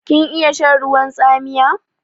Kin iya shan ruwan tsamiya?